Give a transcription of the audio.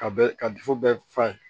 Ka bɛ ka bɛɛ fa ye